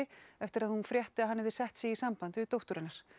eftir að hún frétti að hann hefði sett sig í samband við dóttur hennar